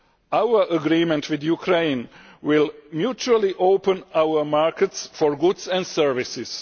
Our agreement with Ukraine will mutually open our markets for goods and services.